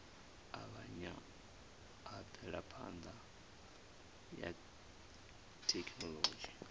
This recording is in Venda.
avhanya ha mvelaphana ya thekhinolodzhi